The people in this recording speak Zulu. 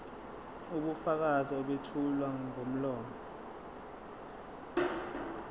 ubufakazi obethulwa ngomlomo